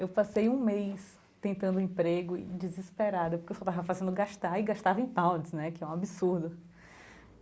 Eu passei um mês tentando emprego e desesperada, porque eu só estava fazendo gastar e gastava em pounds né, que é um absurdo.